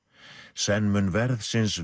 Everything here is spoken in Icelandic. senn mun verðsins